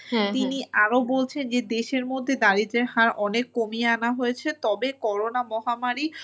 তিনি আরো বলছেন যে দেশের মধ্যে দারিদ্র্যের হার অনেক কমিয়ে আনা হয়েছে তবে করোনা মহামারী